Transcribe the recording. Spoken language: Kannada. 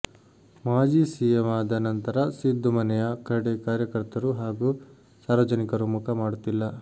ಮಾಜಿ ಸಿಎಂ ಆದ ನಂತರ ಸಿದ್ದು ಮನೆಯ ಕಡೆ ಕಾರ್ಯಕರ್ತರು ಹಾಗೂ ಸಾರ್ವಜನಿಕರು ಮುಖ ಮಾಡುತ್ತಿಲ್ಲ